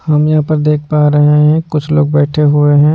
हम यहाँ पर देख पा रहे हैं कुछ लोग बैठे हुए हैं।